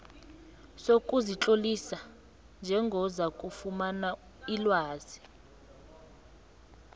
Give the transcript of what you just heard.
sokuzitlolisa njengozakufumana ilwazi